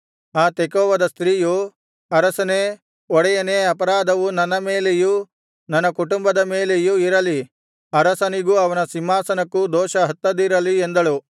ಆ ತೆಕೋವದ ಸ್ತ್ರೀಯು ಅರಸನೇ ಒಡೆಯನೇ ಅಪರಾಧವು ನನ್ನ ಮೇಲೆಯೂ ನನ್ನ ಕುಟುಂಬದ ಮೇಲೆಯು ಇರಲಿ ಅರಸನಿಗೂ ಅವನ ಸಿಂಹಾಸನಕ್ಕೂ ದೋಷ ಹತ್ತದಿರಲಿ ಎಂದಳು